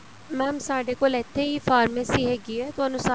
mam ਸਾਡੇ ਕੋਲ ਇੱਥੇ ਹੀ pharmacy ਹੈਗੀ ਏ ਤੁਹਾਨੂੰ